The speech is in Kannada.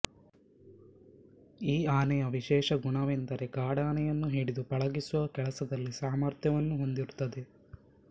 ಈ ಆನೆಯ ವಿಶೇಷ ಗುಣವೆಂದರೆ ಕಾಡಾನೆಯನ್ನು ಹಿಡಿದು ಪಳಗಿಸುವ ಕೆಲಸದಲ್ಲಿ ಸಾಮರ್ಥ್ಯವನ್ನು ಹೊಂದಿರುತ್ತದೆ